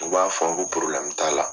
U b'a fɔ t'a la.